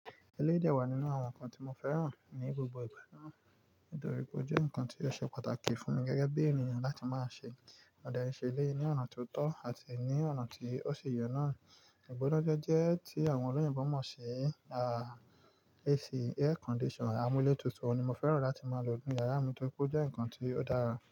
Eleyii dẹ̀ wà nínú àwọn nǹkan tí mo fẹ́ràn ní gbogbo ìgbà náà, nítorí pé ó jẹ́ nǹkan tí ó ṣe pàtàkì fún mi gẹ́gẹ́ bí ènìyàn láti máa ṣe Mo de n ṣe eleyii ní ọ̀nà tó tọ́ àti ní ọ̀nà tí ó ṣi ye na. Ìgbonajeje tí àwọn olóyìnbo mọ̀ sí, AC air condition, amúlétutù ni mo fẹ́ràn láti máa lò nínú yàrá mi torí pé ó jẹ́ nǹkan tí ó dára.